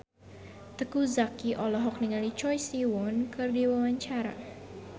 Teuku Zacky olohok ningali Choi Siwon keur diwawancara